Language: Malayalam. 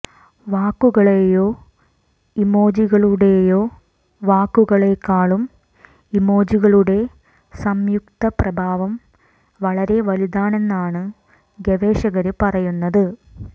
വാക്കുകളേയോ ഇമോജികളുടേയോ വാക്കുകളേക്കാളും ഇമോജികളുടെ സംയുക്ത പ്രഭാവം വളരെ വലുതാണെന്നാണ് ഗവേഷകര് പറയുന്നത്